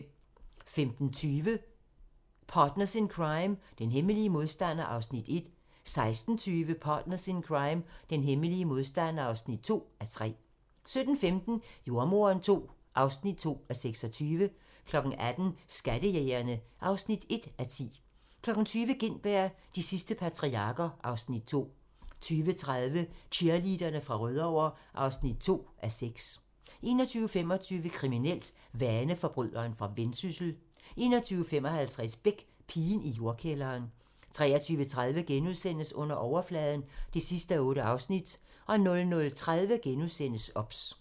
15:20: Partners in Crime: Den hemmelige modstander (1:3) 16:20: Partners in Crime: Den hemmelige modstander (2:3) 17:15: Jordemoderen II (2:26) 18:00: Skattejægerne (1:10) 20:00: Gintberg - de sidste patriarker (Afs. 2) 20:30: Cheerleaderne fra Rødovre (2:6) 21:25: Kriminelt: Vaneforbryderen fra Vendsyssel 21:55: Beck: Pigen i jordkælderen 23:30: Under overfladen (8:8)* 00:30: OBS *